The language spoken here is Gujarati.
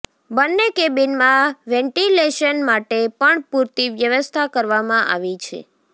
બંને કેબિનમાં વેન્ટિલેશન માટે પણ પૂરતી વ્યવસ્થા કરવામાં આવી છે